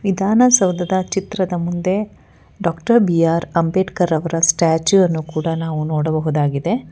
ವಿಧಾನಸೌಧದ ಚಿತ್ರದ ಮುಂದೆ ಡಾಕ್ಟರ್ ಬಿ ಆರ್ ಅಂಬೇಡ್ಕರ್ ರವರ ಸ್ಟ್ಯಾಚು ಅನ್ನು ಕೂಡ ನಾವು ನೋಡಬಹುದಾಗಿದೆ.